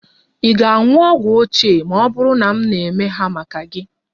Ị ga-aṅụ ogwu ochie ma ọ bụrụ na m na-eme ha maka gị?